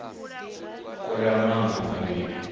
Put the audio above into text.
kulea maṋo mavhili a luṱaha